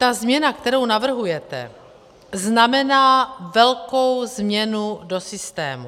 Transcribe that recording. Ta změna, kterou navrhujete, znamená velkou změnu do systému.